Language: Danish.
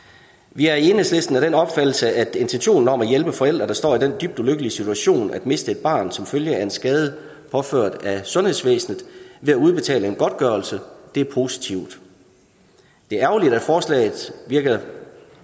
vi er i enhedslisten af den opfattelse at intentionen om at hjælpe forældre der står i den dybt ulykkelige situation at miste et barn som følge af en skade påført af sundhedsvæsenet ved at udbetale en godtgørelse er positiv det er ærgerligt at forslaget virker